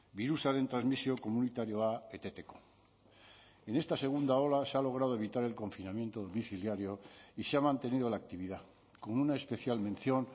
birusaren transmisio komunitarioa eteteko en esta segunda ola se ha logrado evitar el confinamiento domiciliario y se ha mantenido la actividad con una especial mención